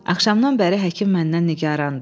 Axşamdan bəri həkim məndən nigarandı.